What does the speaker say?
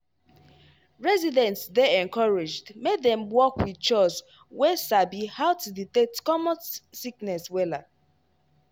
residents dey encouraged make dem work wit chws wey sabi how to detect common sickness wella